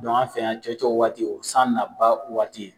an fɛ yan cɔcɔ waati , o ye san na ba waati ye.